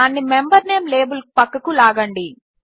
దానిని member name label ప్రక్కకు లాగండి